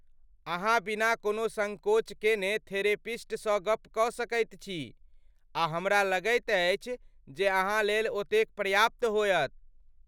अहाँ बिना कोनो सङ्कोच केने थेरेपिस्टसँ गप्प कऽ सकैत छी आ हमरा लगैत अछि जे अहाँलेल ओतेक पर्याप्त होयत।